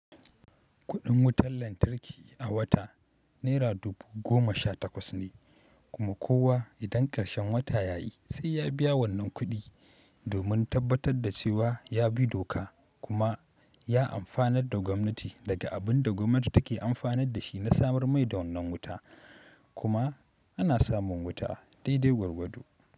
Kuɗin wutar lantarki a wata naira dubu goma sha takwas ne, kuma kowa idan karshen wata ya yi sai ya biya wannan kuɗi domin tabbatar da cewa ya bi doka kuma ya amfanar da gwamnati daga abin da gwamnati take amfanar da shi na samar mai wannan wuta kuma ana samun wuta daidai gwargwado.